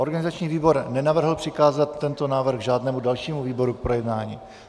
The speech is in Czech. Organizační výbor nenavrhl přikázat tento návrh žádnému dalšímu výboru k projednání.